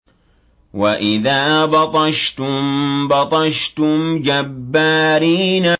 وَإِذَا بَطَشْتُم بَطَشْتُمْ جَبَّارِينَ